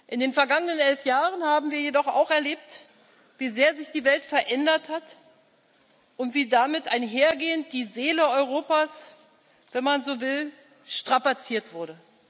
In den vergangenen elf Jahren haben wir jedoch auch erlebt, wie sehr sich die Welt verändert hat und wie damit einhergehend die Seele Europas, wenn man so will, strapaziert wurde.